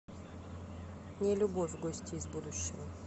нелюбовь гости из будущего